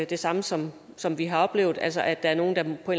det samme som som vi har oplevet altså at der er nogle der på